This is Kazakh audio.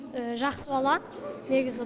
жақсы бала негізі